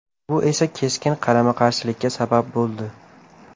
Bu esa keskin qarama-qarshilikka sabab bo‘ldi.